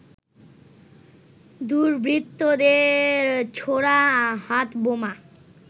দুর্বৃত্তদের ছোড়া হাতবোমা